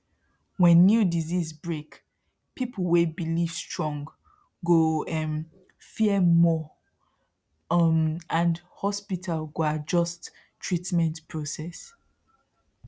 when new disease break people wey believe strong go um fear more um and hospital go adjust treatment process